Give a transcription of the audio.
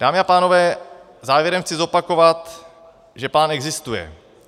Dámy a pánové, závěrem chci zopakovat, že plán existuje.